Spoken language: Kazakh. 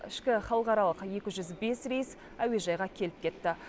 ішкі халықаралық екі жүз бес рейс әуежайға келіп кетті